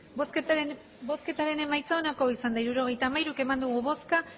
hirurogeita hamairu eman dugu bozka